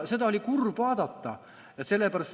Seda oli kurb vaadata.